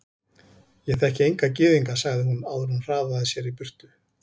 Ég þekki enga gyðinga sagði hún áður en hún hraðaði sér í burtu.